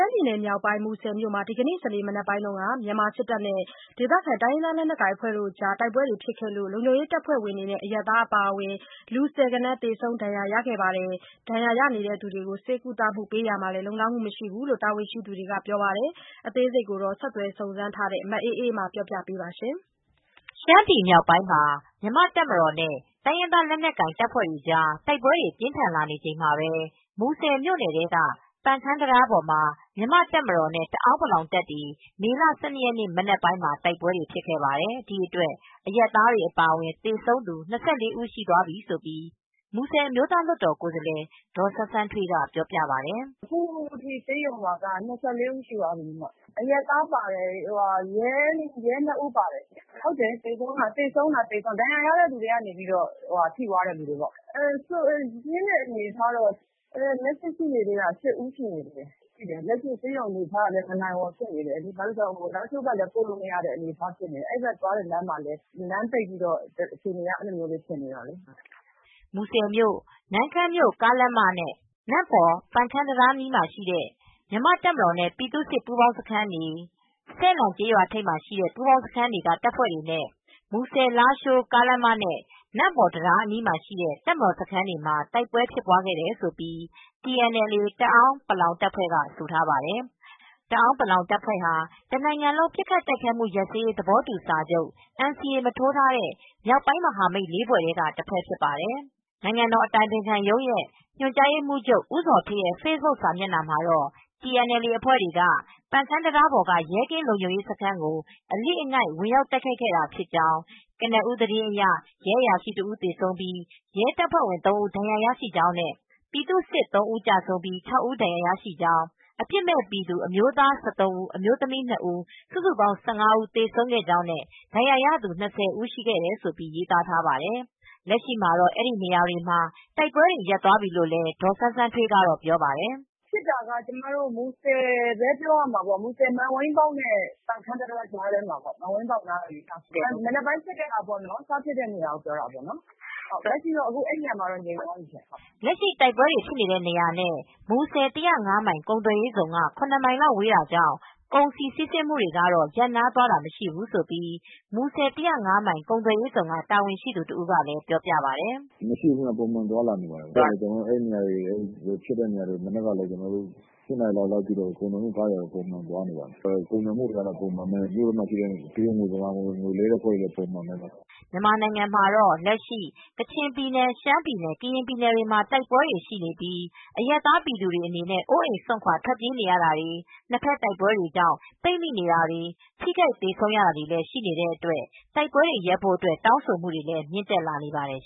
မ်းပြည်နယ်မြောက်ပိုင်း မူဆယ်မြို့မှာ ဒီကနေ့ စနေ မနက်ပိုင်းက မြန်မာလုံခြုံရေးတပ်ဖွဲ့ဝင်တွေနဲ့ ဒေသခံတိုင်းရင်းသား လက်ကိုင်အဖွဲ့တွေကြား တိုက်ပွဲဖြစ်ခဲ့လို့ လုံခြုံရေးတပ်ဖွဲ့ဝင်တွေနဲ့ အရပ်သားအပါအဝင် လူ ဆယ်ဂဏန်း သေဆုံး ဒဏ်ရာရသွားခဲ့ပါတယ်။ ဒဏ်ရာရနေသူတွေကို ဆေးကုသပေးနေရတာမှာလည်း လုံလောက်မှုမရှိဘူးလို့ တာဝန်ရှိသူတွေက ပြောပါတယ်။ အသေးစိတ်ကို ဆက်သွယ်စုံစမ်းထားတဲ့ မအေးအေးမာ ဆက်ပြောပြပေးပါရှင်။ ရှမ်းပြည်မြောက်ပိုင်း မှာ မြန်မာတပ်မတော်နဲ့ တိုင်းရင်းသားလက်နက်ကိုင်တွေကြားတိုက်ပွဲတွေပြင်းထန်လာနေချိန်မှာပဲ မူဆယ်မြို့နယ်ထဲက ပန်ခမ်းတံတားပေါ်မှာ မြန်မာတပ်မတော်နဲ့ တအောင်းပလောင်တပ်တွေ မေလ ၁၂ရက်နေ့မနက်ပိုင်းမှာတိုက်ပွဲတွေဖြစ်ခဲ့ပါတယ် ဒီအတွက်အရပ်သားတွေအပါအဝင် သေဆုံးသူ ၂၄ဦးရှိသွားပြီးလို့မူဆယ် အမျိုးသားလွတ်တော်ကိုယ်စားလှယ် ဒေါ်စန်းစန်းထွေးကပြောပါတယ်။ "အခုထိဆေးရုံမှာ သေဆုံးတာ ၂၄ဦးရှိသွားပြီး အရပ်သားပါတယ် ရဲ၂ဦးပါတယ့် သေဆုံးတာကတော့ ဒဏ်ရာရတဲ့သူတွေကတော့ ထိသွားတဲ့သူတွေေပေါ့ ဒဏ်ရာပြင်းတာက လက်ရှိ ရှိနေတာ၈ဦးရှိနေသေးတယ် လက်ရှိအနေအထားက မနိုင်ဝန်ဖြစ်နေတယ် ဘာဖြစ်လို့လဲဆိုတော့ လားရှိုးဘက်ကိုလည်း ပိုမရ သွားမရဖြစ်နေတယ်အဲဒီဘက်သွားတဲ့လမ်းမှာပဲ လမ်းပိတ်ပြီး အခြေအနေကအဲဒီလိုမျိုးဖြစ်နေတယ်။" မူဆယ်မြို့ -နမ့်ခမ်းမြို့ ကားလမ်းမ နမ့်ပေါ်ပန်ခမ်း တံတားအနီးရှိတဲ့ မြန်မာတပ်မတော် နဲ့ ပြည်သူ့စစ် ပူးပေါင်းစခန်းတွေ စယ်လန့်ကျေးရွာထိပ်မှာရှိတဲ့ ပူးပေါင်းစခန်းတွေ ကတပ်ဖွဲတွေနဲ့ မူဆယ်လားရှိုး ကားလမ်းမ၊ နမ့်ပေါ် တံတား အနီးမှာ ရှိတဲ့ တပ်မတော် စခန်းတွေမှာ တိုက်ပွဲဖြစ်ပွားခဲ့တယ်လို့ TNLA တအောင်း ပလောင်တပ်ဖွဲက ကဆိုထားပါတယ်။ တအောင်းပလောင်တပ်ဖွဲဟာ တနိုင်ငံလုံး ပစ်ခတ်တိုက်ခိုက်မူရပ်စဲရေးသဘောတူးစာချုပ် NCA မထိုးထားတဲ့မြောက်ပိုင်းမဟာမိတ် ၄ဖွဲထဲက တဖွဲ့ဖြစ်ပါတယ်။ နိုင်ငံ့တော်အတိုင်ပင်ခံရုံးရဲ့ညွန်ကြားရေးမူးချုပ် ဦးဇော်ဌေးရဲ့ဖေ့ဘွတ်ခ် စာမျက်နှာမှာတော့ TNLA အဖွဲ့တွေက ပန်ခမ်းတံတားက ရဲကင်းလုံခြုံရေးစခန်းကို အလစ်အငိုက်ဝင်ရောက်တိုက်ခိုက်ခဲ့တာဖြစ်ကြောင်း ကနဦးသတင်းအရ ရဲအရာရှိ ၁ ဦး ကျဆုံးပြီး ရဲတပ်ဖွဲ့ဝင် ၃ ဦး ဒဏ်ရာရရှိကြောင်းနဲ့ ပြည်သူ့စစ် ၃ ဦး ကျဆုံးပြိး ၊ ၆ ဦး ဒဏ်ရာရရှိကြောင်းအပြစ်မဲ့ပြည်သူ အမျိုးသား ၁၃ ဦး၊ အမျိုးသမီး ၂ ဦး၊ စုစုပေါင်း ၁၅ ဦး သေဆုံးခဲ့ကြောင်းနဲ့ ဒဏ်ရာရသူ ၂၀ဦးရှိတယ်လို့ရေးသားထားပါတယ်။ လက်ရှိမှာတော့အဲဒီနေရာမှာတိုက်ပွဲတွေ ရပ်သွားပြီးလို့လည်း ဒေါ်စန်းစန်းထွေးကပြောပြပါတယ်။ "ဖြစ်တာက မူဆယ်နဲ့ မန်ဝိန်းပေါက် ပန်ခမ်းတံတားကြားထဲမှာပေါ့ မနက်က စဖြစ်တဲ့နေရာကိုပြောတာပေါ့နော်။ လက်ရှိတော့ အဲဒီနေရာမှာတော့ငြိမ်သွားပြီ။" လက်ရှိတိုက်ပွဲဖြစ်နေတဲ့နေရာနဲ့ မူဆယ်၁၀၅မိုင်ကုန်သွယ်ရေးဇုန်နဲ့ ရမိုင်လောက်ဝေးတာကြောင့် ကုန်စည်စီးဆင်းမူတွေကတော့ ရပ်နားသွားတာမရှိဘူးလို့မူဆယ်၁၀၅မိုင်ကုန်သွယ်ရေးဇုန်က တာဝန်ရှိသူတဦးကလည်းပြောပြပါတယ်။ "လက်ရှိကတော့ပုံမှန်သွားနေပါတယ် မနက်က ၈နာရီလောက်ကဖြစ်တာဆိုတော့ ကုန်သည်ကားတွေတော့ ပုံမှန်သွားနေပါတယ် ကုန်သွယ်မူတွေကလည်းပုံမှန်ပဲမြို့ထဲမှာလဲ မြန်မာငွေလွဲှတဲ့အလုပ်တွေလည်းပုံမှန်ပါပဲ။" မြန်မာနိုင်ငံမှာတော့ လက်ရှိကချင်ပြည်နယ် ရှမ်းပြည်နယ် ကရင်ပြည်နယ်တွေမှာ တိုက်ပွဲတွေဖြစ်နေပြိး အရပ်သားပြည်သူတွေက အိုးအိမ်စွန့်ခွါထွက်ပြေးနေရတာတွေ နှစ်ဘက်တိုက်ပွဲတွေ ကြောင့် ပိတ်မိနေတာတွေထိခိုက်သေဆုံးမူတွေလည်း ရှိနေတဲ့အတွက် တိုက်ပွဲတွေရပ်ဖို့အတွက် တောင်းဆိုမူတွေလည်းမြင့်တက်လာနေပါတယ်